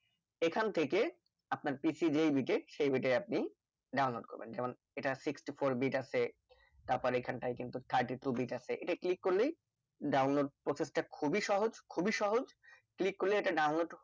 এইখান থেকে আপনার PC যেই bit এর সেই bit এর আপনি download করবেন যেমন এটা sixty four bit আছে তারপর এইখান তাই কিন্তু thirty two bit আছে এটা click করলেই download process টা খুবই সহজ খুবই সহজ click করলে এটা download